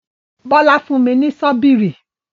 Bólà fún mi ní sọbíìrì.